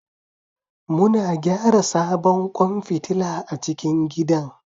Muna gyara sabon kwan fitila a cikin gidan